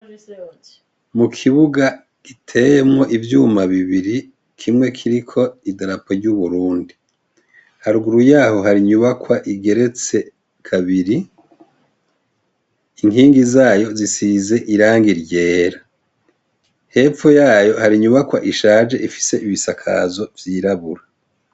Mu kibuga giteyemwo ivyuma bibiri kimwe kiriko idarapo ry'uburundi haruguru yaho hari inyubakwa igeretse kabiri inkingi zayo zisize iranga iryera hepfu yayo hari inyubakwa ishaje ifise ibisakazo vyirabura.